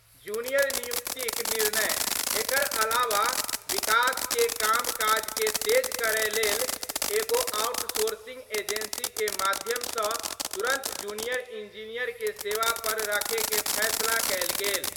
Junior नियुक्तिक निर्णय : एकर अलावा विकास के काम काज के तेज करय लेल एगो आउटसोरसिंग एजेंसी के माध्यम सं तुरंत जूनियर इंजीनियर के सेवा पर रखय के फैसला कयल गेल।